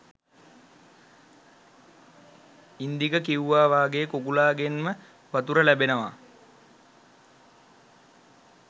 ඉන්දික කිව්වා වගේ කුකුළා ගෙන්ම වතුර ලැබෙනවා